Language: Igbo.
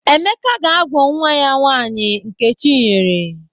Emeka ga-agwụ nwa ya nwaanyi Nkechinyere.